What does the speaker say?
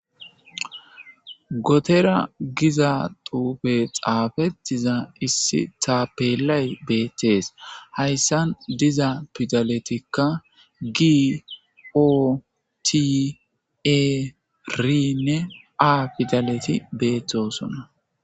Gotera giza duufe xaafetiza issi taapelay beettees hayssan diza pidaletikka gi ootie rinne a pidaleti beethtosona.